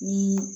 Ni